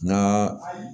N ka